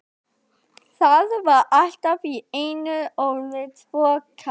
Það var allt í einu orðið svo kalt.